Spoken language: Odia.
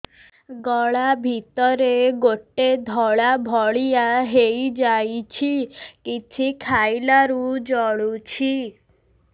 ଗଳା ଭିତରେ ଗୋଟେ ଧଳା ଭଳିଆ ହେଇ ଯାଇଛି କିଛି ଖାଇଲାରୁ ଜଳୁଛି